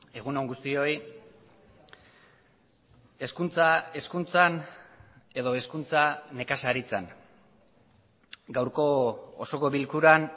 egun on guztioi hezkuntza hezkuntzan edo hezkuntza nekazaritzan gaurko osoko bilkuran